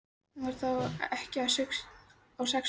Hún var þá ekkja á sextugsaldri.